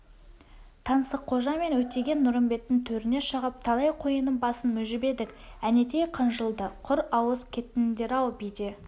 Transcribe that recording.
таңсыққожа мен өтеген-нұрымбеттің төріне шығып талай қойының басын мүжіп едік әнетей қынжылды құр ауыз кеттіңдер-ау биде